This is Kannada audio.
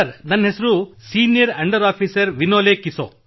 ನನ್ನ ಹೆಸರು ಸೀನಿಯರ್ ಅಂಡರ್ ಆಫೀಸರ್ ವಿನೋಲೆ ಕಿಸೋ